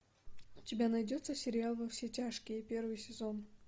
у тебя найдется сериал во все тяжкие первый сезон